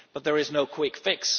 But there is no quick fix.